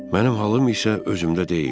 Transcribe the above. Mənim halım isə özümdə deyildi.